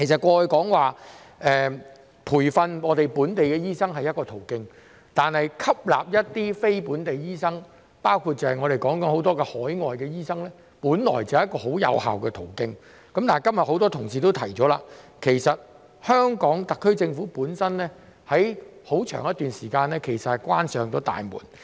過去培訓本地醫生是一個途徑，而吸納非本地醫生，包括我們現在談及的海外醫生，本來也是一個很有效的途徑，但正如今日很多同事指出，香港特區政府在過去一段很長時間關上了大門。